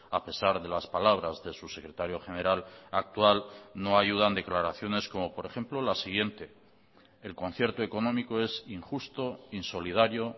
a pesar de las palabras de su secretario general actual no ayudan declaraciones como por ejemplo la siguiente el concierto económico es injusto insolidario